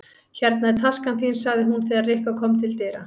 Hérna er taskan þín sagði hún þegar Rikka kom til dyra.